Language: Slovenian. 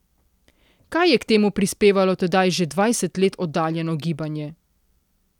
Kaj je k temu prispevalo tedaj že dvajset let oddaljeno gibanje?